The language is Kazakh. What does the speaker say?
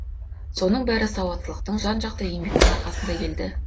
соның бәрі сауаттылықтың жан жақты еңбектің арқасында келді